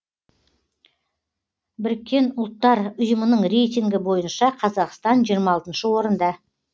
біріккен ұлттар ұйымының рейтингі бойынша қазақстан жиырма алтыншы орында